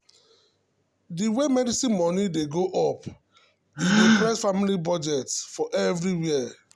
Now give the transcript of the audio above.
the way medicine money dey go up e dey press families’ budget for everywhere.